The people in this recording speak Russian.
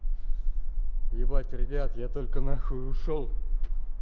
ебать ребят я только нахуй ушёл